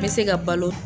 N bɛ se ka balo